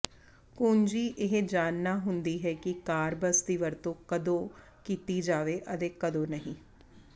ਕੁੰਜੀ ਇਹ ਜਾਣਨਾ ਹੁੰਦੀ ਹੈ ਕਿ ਕਾਰਬਸ ਦੀ ਵਰਤੋਂ ਕਦੋਂ ਕੀਤੀ ਜਾਵੇ ਅਤੇ ਕਦੋਂ ਨਹੀਂ